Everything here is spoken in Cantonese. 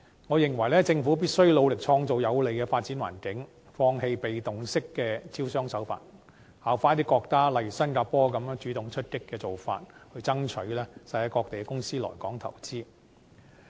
我認為，政府必須努力創造有利的發展環境，放棄被動式的招商手法，效法一些國家，例如新加坡，主動出擊的做法，去爭取世界各地的公司來港投資。